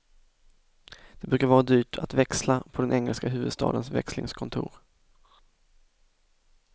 Det brukar vara dyrt att växla på den engelska huvudstadens växlingskontor.